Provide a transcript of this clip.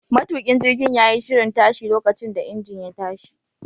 Matukin jirgin ya yi shirin tashi lokacin da injin ya tashi.